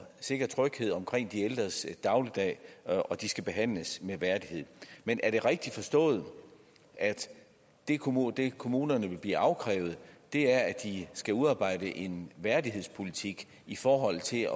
sikker tryghed omkring de ældres dagligdag og at de skal behandles med værdighed men er det rigtigt forstået at det kommunerne det kommunerne vil blive afkrævet er at de skal udarbejde en værdighedspolitik i forhold til